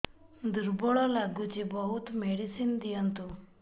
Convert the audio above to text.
ଦୁର୍ବଳ ଲାଗୁଚି ବହୁତ ମେଡିସିନ ଦିଅନ୍ତୁ